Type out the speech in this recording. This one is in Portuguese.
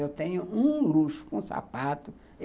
Eu tenho um luxo com sapato.